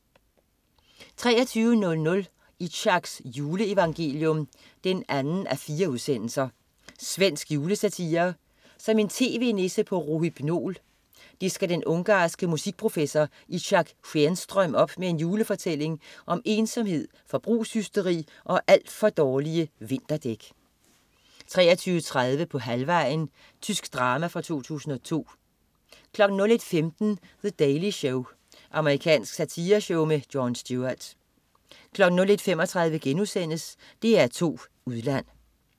23.00 Itzhaks juleevangelium 2:4. Svensk julesatire. Som en tv-nisse på rohypnol disker den ungarske musikprofessor Itzhak Skenström op med en julefortælling om ensomhed, forbrugshysteri og alt for dårlige vinterdæk 23.30 På halvvejen. Tysk drama fra 2002 01.15 The Daily Show. Amerikansk satireshow med Jon Stewart 01.35 DR2 Udland*